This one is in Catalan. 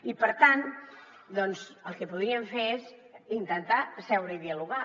i per tant doncs el que podríem fer és intentar seure i dialogar